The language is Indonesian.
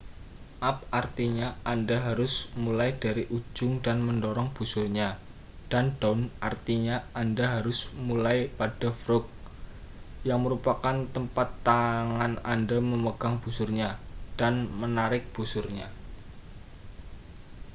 up artinya anda harus mulai dari ujung dan mendorong busurnya dan down artinya anda harus mulai pada frog yang merupakan tempat tangan anda memegang busurnya dan menarik busurnya